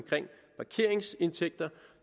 parkeringsindtægter